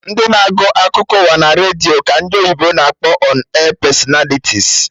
Ndị na-agụ akụkọ ụwa naredio ka ndị oyibo na-akpọ 'ọn air personalities'